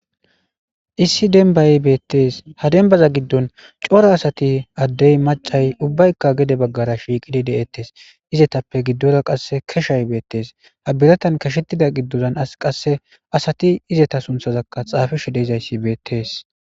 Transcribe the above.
Issi dembay betes ha dembay gidon cora asati Adey machay gede bagara shiqidi de'etes izetappe gidora qase keshay betes ha biratan keshetida gidora qase asati izzeta sunthazaka xapishe dizaysi betes.